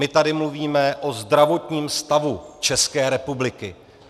My tady mluvíme o zdravotním stavu České republiky.